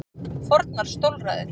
Fornar stólræður.